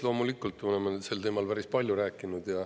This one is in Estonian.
Loomulikult oleme sel teemal päris palju rääkinud.